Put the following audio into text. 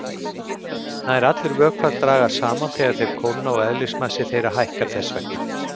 Nær allir vökvar dragast saman þegar þeir kólna og eðlismassi þeirra hækkar þess vegna.